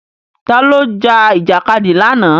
Ta ló jà Ìjàkadì lánàá?